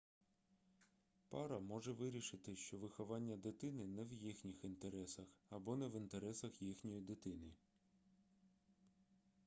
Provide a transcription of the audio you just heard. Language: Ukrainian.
пара може вирішити що виховання дитини не в їхніх інтересах або не в інтересах їхньої дитини